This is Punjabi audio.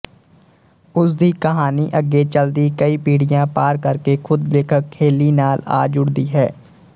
ਉਸਦੀ ਕਹਾਣੀ ਅੱਗੇ ਚਲਦੀ ਕਈ ਪੀੜ੍ਹੀਆਂ ਪਾਰ ਕਰਕੇ ਖ਼ੁਦ ਲੇਖਕ ਹੇਲੀ ਨਾਲ ਆ ਜੁੜਦੀ ਹੈ